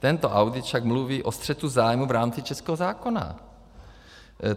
Tento audit však mluví o střetu zájmu v rámci českého zákona.